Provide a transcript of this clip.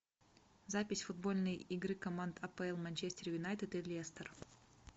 запись футбольной игры команд апл манчестер юнайтед и лестер